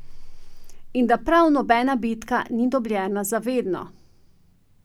In da prav nobena bitka ni dobljena za vedno.